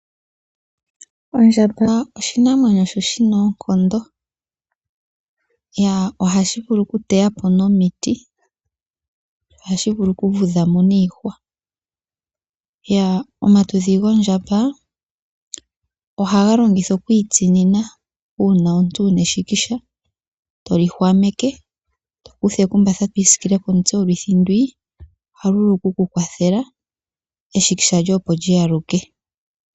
Ondjamaba oshinamwenyo sho shina oonkondo, yaa ohashi vulu oku teya po nomiti, ohashi vulu oku vudha mo niihwa. Yaa omatudhi gondjamba ohaga longithwa okwiitsinina uuna omuntu wuna eshikisha. toli hwameke to kutha ekumba twiisikile komutse, oluthi ndwii ohalu vulu oku ku kwathela eshikisha lyoye opo lyi aluke.